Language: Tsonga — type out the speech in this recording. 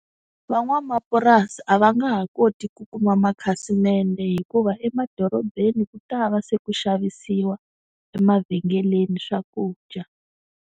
Van'wamapurasi a va nga ha koti ku kuma makhasimende hikuva emadorobeni ku ta va se ku xavisiwa emavhengeleni swakudya.